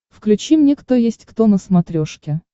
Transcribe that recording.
включи мне кто есть кто на смотрешке